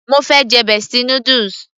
mo fẹ́ jẹ bestie noodles